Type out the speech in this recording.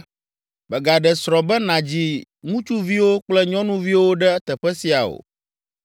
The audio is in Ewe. “Mègaɖe srɔ̃ be nàdzi ŋutsuviwo kple nyɔnuviwo ɖe teƒe sia o”